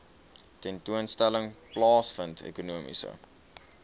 tentoonstelling plaasvind ekonomiese